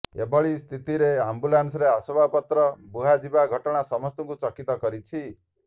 ଏଭଳି ସ୍ଥିତିରେ ଆମ୍ବୁଲାନ୍ସରେ ଆସବାବପତ୍ର ବୁହାଯିବା ଘଟଣା ସମସ୍ତଙ୍କୁ ଚକିତ କରିଛି